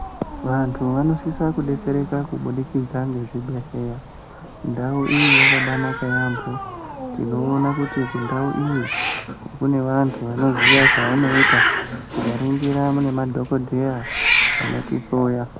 Vantu vanosisa kudetsereka kubudikidza nezvibhedhlera ndau iyiyi yakabanaka yambo tinoona kuti kundau iyi kune antu anoziya zvanoita tikaningira nemadhokoteya anotihloya.